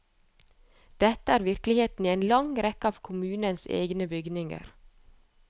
Dette er virkeligheten i en lang rekke av kommunens egne bygninger.